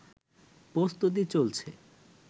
প্রস্তুতি চলছে